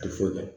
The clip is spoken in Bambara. A tɛ foyi dɔn